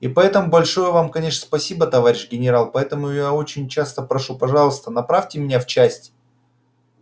и поэтому большое вам конечно спасибо товарищ генерал поэтому я очень часто прошу пожалуйста направьте меня в часть